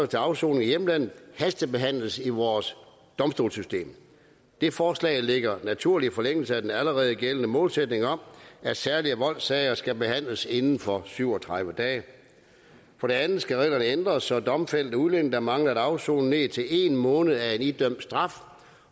til afsoning i hjemlandet hastebehandles i vores domstolssystem det forslag ligger i naturlig forlængelse af den allerede gældende målsætning om at særlige voldssager skal behandles inden for syv og tredive dage for det andet skal reglerne ændres så domfældte udlændinge der mangler at afsone ned til en måned af en idømt straf